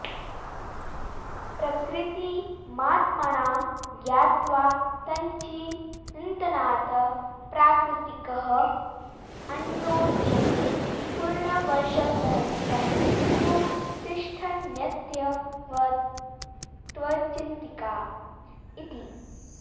प्रकृतिमात्मानं ज्ञात्वा तच्चिन्तनात् प्राकृतिकः अत्रोच्यते पूर्णवर्षसहस्रं तु तिष्ठन्त्यव्यक्तचिन्तका इति